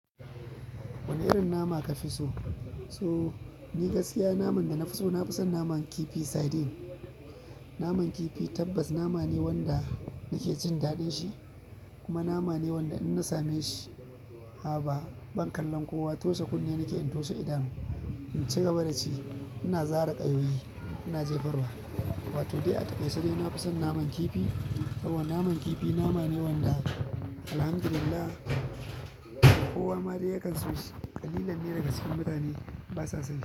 Wane irin nama ka fii so. So ni gaskiya naman da na fi so, na fi son naman kifi sardine. Naman kifi tabbas nama ne wanda nake jin daɗin shi, kuma nama ne wanda in na same shi, haba ban kallan kowa toshe kunne nake in toshe. Idan in ci gaba da ci, ina zare ƙayoyi ina jefar wa. Wato dai a takaice na fi son naman kifi. Saboda naman kifi nama ne wanda alhamdulillahi wanda kowa ma dai ya kan so shi ƙalilan ne daga cikin mutane basa son shi.